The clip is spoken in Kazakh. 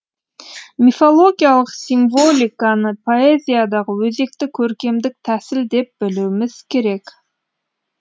мифологиялық символиканы поэзиядағы өзекті көркемдік тәсіл деп білуіміз керек